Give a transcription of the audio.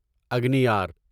اگنیار